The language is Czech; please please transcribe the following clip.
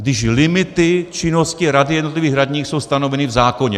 Když limity činnosti rady jednotlivých radních jsou stanoveny v zákoně.